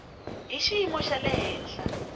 hi xiyimo xa le henhla